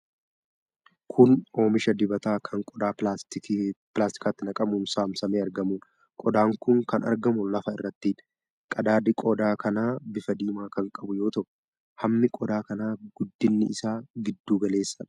Kun oomisha dibataa kan qodaa pilaastikaatti naqamuun saamsamee argamuudha. qodaan kun kan argamu lafa irrattidha. Qadaadi qodaa kanaa bifa diimaa kan qabu yoo ta'u, hammi qodaa kanaa guddinni isaa giddu galeessadha.